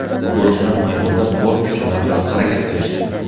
Futbolchilar maydonda bor kuchlari bilan harakat qilishdi.